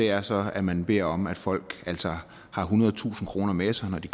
er så at man beder om at folk har ethundredetusind kroner med sig når de